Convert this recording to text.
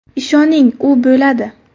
Ishoning, u bo‘ladi.